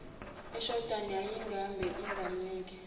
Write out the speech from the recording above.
ashdown yayimgabhe ingamnike